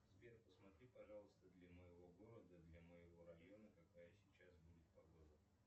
сбер посмотри пожалуйста для моего города для моего района какая сейчас будет погода